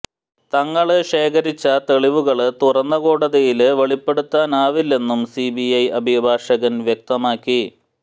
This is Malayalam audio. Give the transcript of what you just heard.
തങ്ങള് ശേഖരിച്ച തെളിവുകള് തുറന്ന കോടതിയില് വെളിപ്പെടുത്താനാവില്ലെന്നും സിബി ഐ അഭിഭാഷകന് വ്യക്തമാക്കി